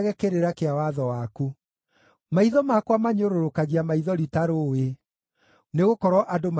Maitho makwa manyũrũrũkagia maithori ta rũũĩ, nĩgũkorwo andũ matirathĩkĩra watho waku.